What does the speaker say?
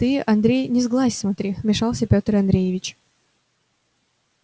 ты андрей не сглазь смотри вмешался пётр андреевич